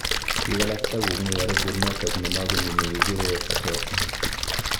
Biik alak takong'ui arubut notok nemakomii nekikuree phattosmia